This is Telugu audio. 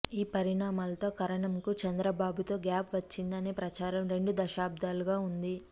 ఈ పరిణామాలతో కరణంకు చంద్రబాబు తో గ్యాప్ వచ్చింది అనే ప్రచారం రెండు దశాబ్దాలుగా ఉంది